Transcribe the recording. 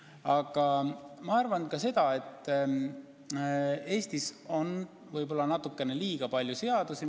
Samas ma arvan ka seda, et Eestis on võib-olla natukene liiga palju seadusi.